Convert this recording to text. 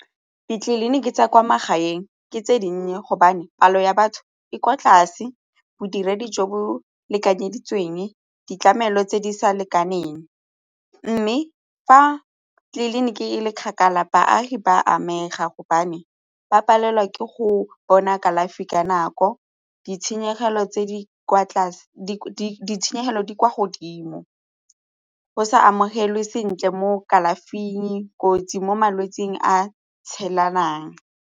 Ditleliniki tsa kwa magaeng ke tse dinnye gobane palo ya batho e kwa tlase, bodiredi jo bo lekanyeditsweng, ditlamelo tse di sa lekaneng mme fa tleliniki e le kgakala baagi ba amega gobane ba palelwa ke go bona kalafi ka nako ditshenyegelo di kwa godimo go sa amogelwe sentle mo kalafing, kotsi mo malwetsing a tshelanang.